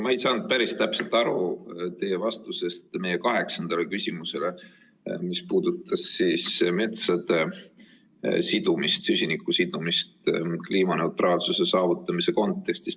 Ma ei saanud päris täpselt aru teie vastusest meie kaheksandale küsimusele, mis puudutas süsiniku sidumist kliimaneutraalsuse saavutamise kontekstis.